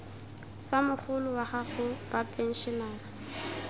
sa mogolo wa gago bapenšenara